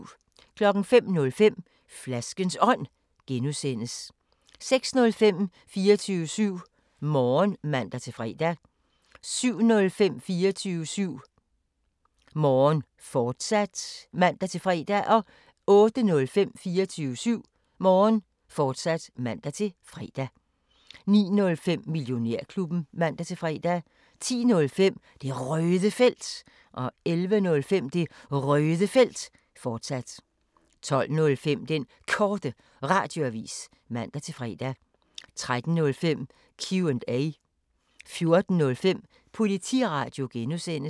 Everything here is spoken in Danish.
05:05: Flaskens Ånd (G) 06:05: 24syv Morgen (man-fre) 07:05: 24syv Morgen, fortsat (man-fre) 08:05: 24syv Morgen, fortsat (man-fre) 09:05: Millionærklubben (man-fre) 10:05: Det Røde Felt 11:05: Det Røde Felt, fortsat 12:05: Den Korte Radioavis (man-fre) 13:05: Q&A 14:05: Politiradio (G)